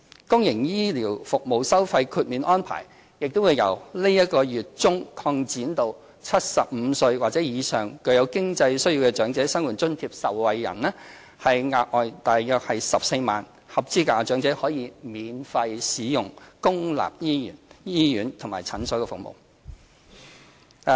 公營醫療服務收費豁免安排亦將由本月中擴展至75歲或以上較有經濟需要的長者生活津貼受惠人，額外約14萬名合資格長者可以免費使用公立醫院和診所服務。